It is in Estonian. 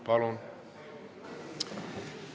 Palun!